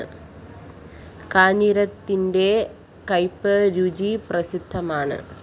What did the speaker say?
കാഞ്ഞിരത്തിന്റെ കയ്പ് രുചി പ്രസിദ്ധമാണ്